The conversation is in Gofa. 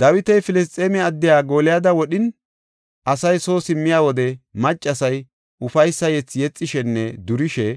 Dawiti Filisxeeme addiya Gooliyada wodhin, asay soo simmiya wode maccasay ufaysa yethi yexishenne durishe,